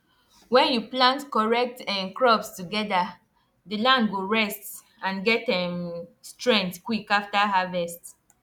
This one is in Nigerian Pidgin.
when you plant correct um crops together the land go rest and get um strength quick after harvest